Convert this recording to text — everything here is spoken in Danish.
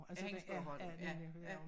Ja hendes bog har du ja ja